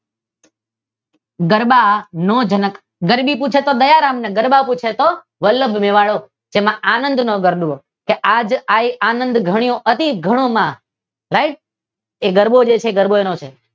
ગરબા નો જનક. ગરબી પૂછે તો દયારામ અને ગરબા પૂછે તો વલ્લભ મેવાડો જેનો આનંદ નો ગરબો. જે આજ આઈ આનંદ ઘણો અતિ ઘણો માં આ રાઇટ એ ગરબો છે જે એનો ગરબો છે.